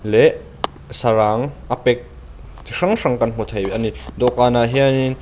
leh sarang a pek chi hrang hrang kan hmu thei a ni dawhkhanah hianin --